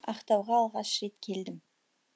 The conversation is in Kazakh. ақтауға алғаш рет келдім